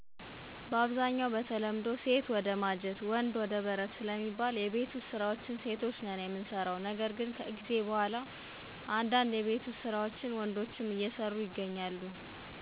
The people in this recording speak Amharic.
በአብዛኛው በተለምዶ ሴት ወደ ማጀት ወንድ ወደ በረት ስለሚባል የቤት ውስጥ ስራዎችን ሴቶች ነን የምንሰራው ነገር ግን ከጊዜ በኋላ እንዳንድ የቤት ውስጥ ስራዎችን ወንዶችም አየሰሩ ይሰራሉ።